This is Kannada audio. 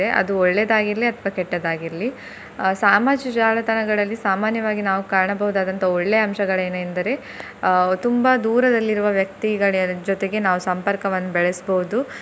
ಅದು ಒಳ್ಳೆದಾಗಿರ್ಲಿ ಅಥವಾ ಕೆಟ್ಟದಾಗಿರ್ಲಿ ಅಹ್ ಸಾಮಾಜಿಕ ಜಾಲತಾಣಗಳಲ್ಲಿ ಸಾಮಾನ್ಯವಾಗಿ ನಾವು ಕಾಣಬಹುದಾದಂತಹ ಒಳ್ಳೆಯ ಅಂಶಗಳೆನೆಂದ್ರೆ ಅಹ್ ತುಂಬಾ ದೂರದಲ್ಲಿ ಇರುವ ವ್ಯಕ್ತಿಗಳ ಜೊತೆಗೆ ನಾವು ಸಂಪರ್ಕವನ್ನು ಬೆಳೆಸ್ಬೋದು.